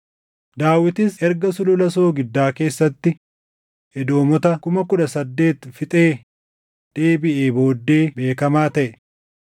Daawitis erga Sulula Soogiddaa keessatti Edoomota kuma kudha saddeet fixee deebiʼee booddee beekamaa taʼe.